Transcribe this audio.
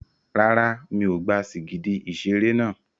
Rárá, mi ò gba sìgìdì ìṣeré náà.